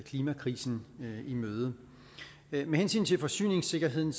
klimakrisen i møde med hensyn til forsyningssikkerheden